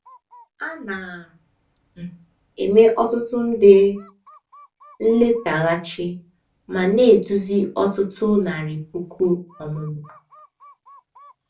A na um - eme ọtụtụ nde um nletaghachi ma na - eduzi ọtụtụ narị puku ọmụmụ the text.